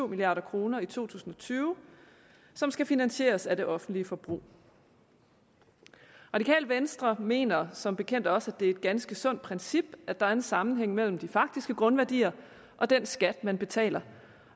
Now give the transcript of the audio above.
milliard kroner i to tusind og tyve som skal finansieres af det offentlige forbrug radikale venstre mener som bekendt også det er et ganske sundt princip at der er en sammenhæng mellem de faktiske grundværdier og den skat man betaler